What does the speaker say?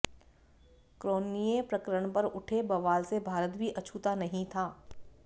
Cronje प्रकरण पर उठे बवाल से भारत भी अछूता नहीं था